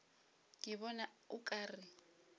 ke bona o ka re